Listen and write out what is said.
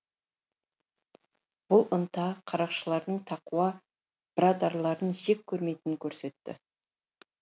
бұл ынта қарақшылардың тақуа бірадарларын жек көрмейтінін көрсетті